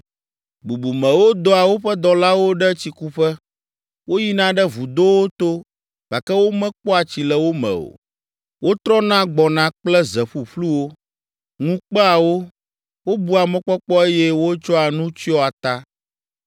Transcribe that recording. Bubumewo dɔa woƒe dɔlawo ɖe tsikuƒe; woyina ɖe vudowo to, gake womekpɔa tsi le wo me o. Wotrɔna gbɔna kple ze ƒuƒluwo, ŋu kpea wo, wobua mɔkpɔkpɔ eye wotsɔa nu tsyɔa ta.